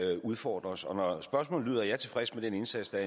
der udfordrer os og når spørgsmålet lyder om jeg er tilfreds med den indsats der